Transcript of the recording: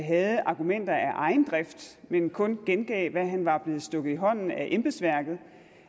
havde argumenter af egen drift men kun gengav hvad han var blevet stukket i hånden af embedsværket